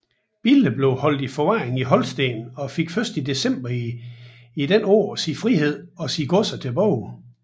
Bille blev holdt i forvaring i Holsten og fik først i december dette år sin frihed og sine godser tilbage